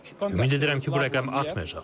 Ümid edirəm ki, bu rəqəm artmayacaq.